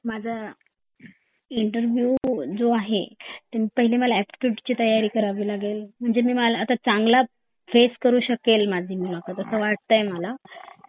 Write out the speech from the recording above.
आणि माझा इणेरवीव जो आहे म्हणजे मला एप्टिट्यूड ची तयारी करावी लागेल म्हणजे मला आता चांगला फेस करू शकेल असा मला वाटतंय मला